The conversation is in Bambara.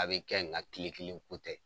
A be kɛ nga kile kelen ko tɛ.